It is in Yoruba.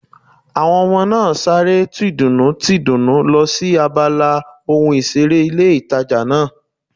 Àwọn ọmọ náà sáré tìdùnnú tìdùnnú lọ sí abala ohun ìseré ilé ìtajà náà